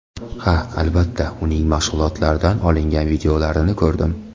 Ha, albatta, uning mashg‘ulotlaridan olingan videolarni ko‘rdim.